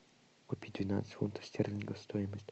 купить двенадцать фунтов стерлингов стоимость